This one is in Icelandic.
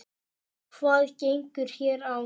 Hvað gengur hér á?